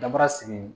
Daba sigi